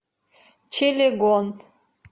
чилегон